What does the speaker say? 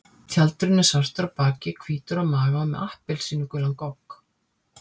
Tjaldurinn er svartur á baki, hvítur á maga og með appelsínugulan gogg.